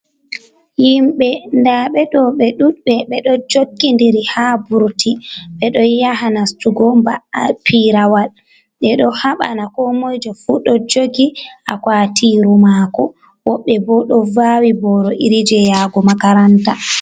Yimɓe daɓe do bedudbe bedo jokkidiri ha burti be do yaha nastugo ba'ai8 pirawal be do habana ko moijofu do jogi akwatiru mako, wobbe bo do vawi boro iri je yago Makaranta.